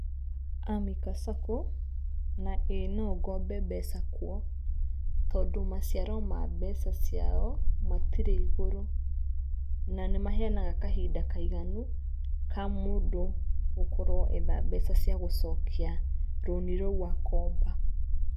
Amica Sacco, na ĩĩ nongombe mbeca kuo, tondũ maciaro ma mbeca ciao matirĩ igũrũ. Na nĩmaheanaga kahinda kaiganu ka mũndũ gũkorwo etha mbeca cia gũcokia rũni rũu akomba .